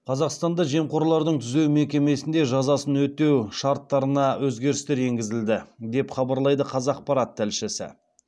қазақстанда жемқорлардың түзеу мекемесінде жазасын өтеу шарттарына өзгерістер енгізілді деп хабарлайды қазақпарат тілшісі